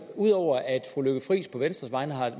ud over at fru lykke friis på venstres vegne